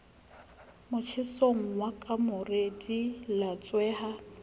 motjhesong wa kamore di latsweha